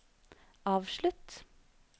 avslutt